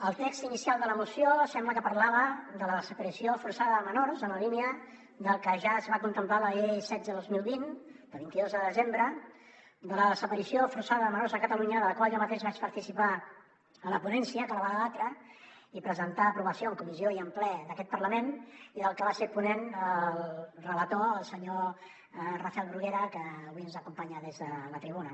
el text inicial de la moció sembla que parlava de la desaparició forçada de menors en la línia del que ja es va contemplar en la llei setze dos mil vint de vint dos de desembre de la desaparició forçada de menors a catalunya en la qual jo mateix vaig participar a la ponència que la va debatre i presentar a aprovació en comissió i en ple d’aquest parlament i de la que va ser ponent el relator el senyor rafel bruguera que avui ens acompanya des de la tribuna